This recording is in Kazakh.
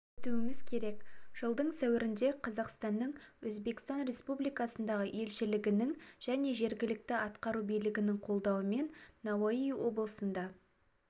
өтуіміз керек жылдың сәуірінде қазақстаның өзбекстан республикасындағы елшілігінің және жергілікті атқару билігінің қолдауымен науаи облысында